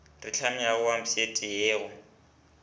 re hlamilego wepsaete ye go